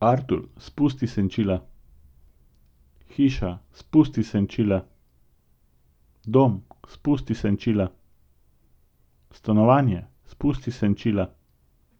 Artur, spusti senčila. Hiša, spusti senčila. Dom, spusti senčila. Stanovanje, spusti senčila.